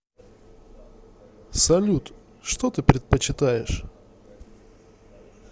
салют что ты предпочитаешь